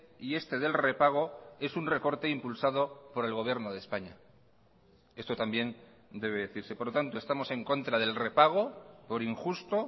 y este del repago es un recorte impulsado por el gobierno de españa esto también debe decirse por lo tanto estamos en contra del repago por injusto